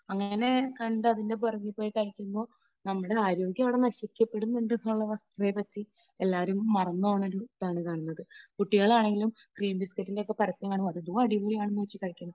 അങ്ങനെ കണ്ട് അതിൻറെ പുറകിൽ പോയി കഴിക്കുമ്പോൾ നമ്മുടെ ആരോഗ്യം അവിടെ നശിപ്പിക്കപ്പെടുന്നു ഉണ്ട് എന്നുള്ള വസ്തുതയെപ്പറ്റി എല്ലാവരും മറന്നു പോകുന്ന ഒരു ഇതാണ് കാണുന്നത്. കുട്ടികളാണെങ്കിലും ക്രീം ബിസ്കറ്റ് ഒക്കെ പരസ്യം കാണുമ്പോൾ ഇത് അടിപൊളി ആണെന്ന് വെച്ച് കഴിക്കും.